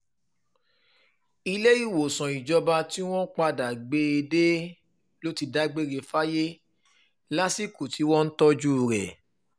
ìléwòsàn ìjọba tí wọ́n padà gbé e dé ló ti dágbére fáyé lásìkò tí wọ́n ń tọ́jú rẹ̀